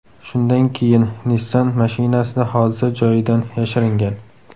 Shundan keyin Nissan mashinasida hodisa joyidan yashiringan.